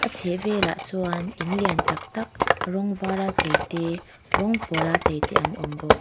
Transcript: chhehvelah chuan in lian tak tak rawng var a chei te rawng pawl a chei te an awm bawk.